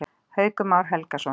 Haukur Már Helgason.